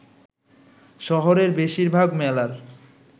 শহরের বেশিরভাগ মেলার